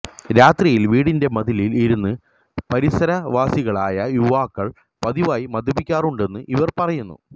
രാത്രിയില് വീടിന്റെ മതിലില് ഇരുന്ന് പരിസരവാസികളായ യുവാക്കള് പതിവായി മദ്യ കഴിക്കാറുണ്ടെന്ന് ഇവര് പറയുന്നു